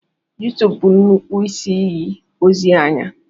YouTube bụ nnukwu isi iyi ozi anya.